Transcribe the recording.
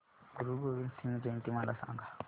गुरु गोविंद सिंग जयंती मला सांगा